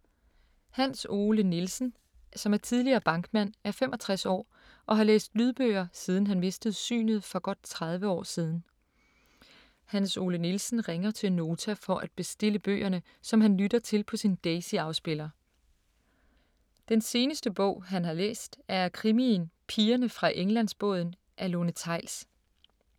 Hans Ole Nielsen, som er tidligere bankmand, er 65 år og har læst lydbøger siden han mistede synet for godt 30 år siden. Hans Ole Nielsen ringer til Nota for at bestille bøgerne, som han lytter til på sin Daisy-afspiller. Den seneste bog han har læst, er krimien Pigerne fra Englandsbåden af Lone Theils.